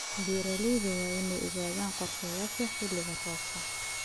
Beeralayda waa inay ogaadaan qorshayaasha xilli-roobaadka.